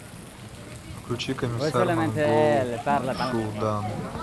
включи комиссар монгол шуудан